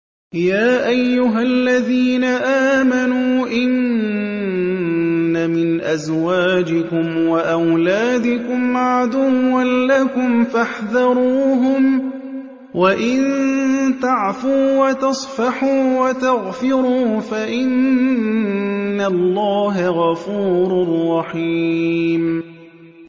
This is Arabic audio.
يَا أَيُّهَا الَّذِينَ آمَنُوا إِنَّ مِنْ أَزْوَاجِكُمْ وَأَوْلَادِكُمْ عَدُوًّا لَّكُمْ فَاحْذَرُوهُمْ ۚ وَإِن تَعْفُوا وَتَصْفَحُوا وَتَغْفِرُوا فَإِنَّ اللَّهَ غَفُورٌ رَّحِيمٌ